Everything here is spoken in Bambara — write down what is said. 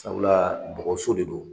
Sabula bɔgɔso de don